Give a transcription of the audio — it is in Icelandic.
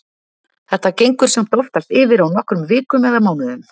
Þetta gengur samt oftast yfir á nokkrum vikum eða mánuðum.